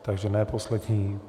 Takže ne poslední.